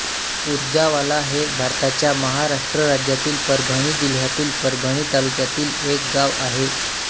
पुरजावाला हे भारताच्या महाराष्ट्र राज्यातील परभणी जिल्ह्यातील परभणी तालुक्यातील एक गाव आहे